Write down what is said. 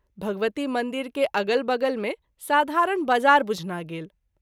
भगवती मंदिर के अगल बगल मे साधारण बाजार बुझना गेल।